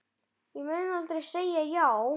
Ég mun aldrei segja já.